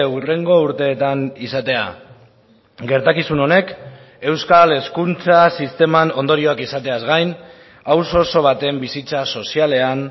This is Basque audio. hurrengo urteetan izatea gertakizun honek euskal hezkuntza sisteman ondorioak izateaz gain auzo oso baten bizitza sozialean